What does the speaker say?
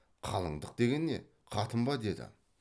қалыңдық деген не қатын ба деді